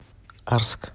арск